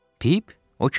Pip, o kimdir?